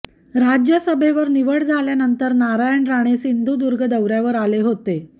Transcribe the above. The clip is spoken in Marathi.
राज्यसभेवर निवड झाल्यानंतर नारायण राणे सिंधुदुर्ग दौर्यावर आले होते